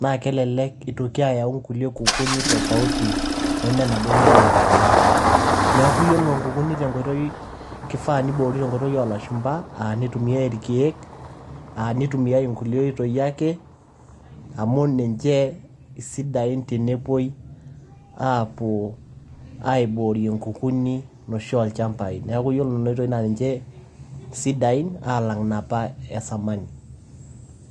naa kelelek eitoki ayau kulie kukuni tofauti neme naduo nigira aibooyo. neaku ore inkukuni keifaa pee eiboori tenkoitoi oo lashumba. Aaa neitumiai elkeek, aa neitumia inkulie oitoi ake, amu ninche isidain tenepuoi, aapuo aiboorie inkukuni oshi oolchambai. Neaku iyiolo inena oitoi naa ninche sidain alang inapa esamani.